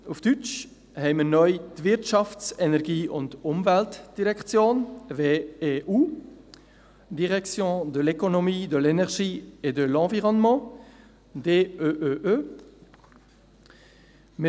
Auf Deutsch haben wir neu die «Wirtschafts-, Energie- und Umweltdirektion (WEU)» beziehungsweise «Direction de l’économie, de l’énergie et de l’environnement (DEEE)».